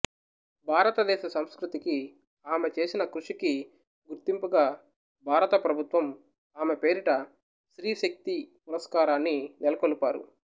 భారతదేశ సంస్కృతికి ఆమె చేసిన కృషికి గుర్తింపుగా భారత ప్రభుత్వం ఆమె పేరిట స్త్రీ శక్తి పురస్కారాన్ని నెలకొల్పారు